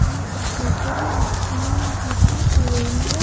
ये एक होटल है जिसका नाम होटल हवेली है।